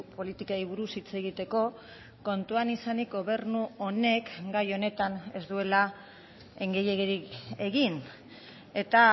politikei buruz hitz egiteko kontuan izanik gobernu honek gai honetan ez duela gehiegirik egin eta